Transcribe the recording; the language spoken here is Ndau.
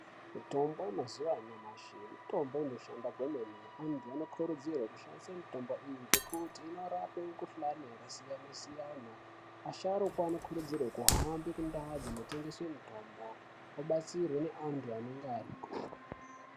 Mitombo mazuva anyamashi mitombo inoshanda kwemene antu ano kurudzirwe kushandise mitombo iyi ngekuti inorape mukuhlani yaka siyana siyana asharukwa ano kurudzirwe kuhambe ku ndau dzino tengeswe mitombo obatsirwe ne antu anenge ariko.